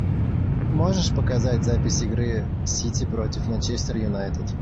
можешь показать запись игры сити против манчестер юнайтед